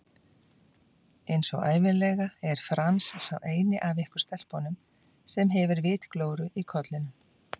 Einsog ævinlega er Franz sá eini af ykkur stelpunum sem hefur vitglóru í kollinum